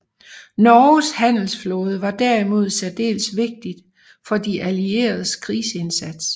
Norges handelsflåde var derimod særdeles vigtig for de allieredes krigsindsats